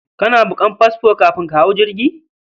Kana bukan fasfo kafin ka hau jirgi?